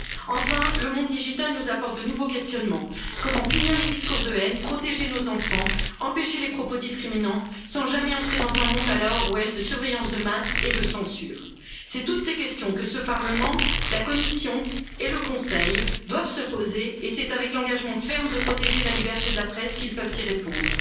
Enfin, le monde digital nous apporte de nouveaux questionnements comment punir les discours de haine, protéger nos enfants, empêcher les propos discriminants, sans jamais entrer dans un monde à la Orwell de surveillance de masse et de censure. C'est toutes ces questions que ce Parlement, la Commission et le Conseil doivent se poser et c'est avec l'engagement ferme de protéger la liberté de la presse qu'ils peuvent y répondre.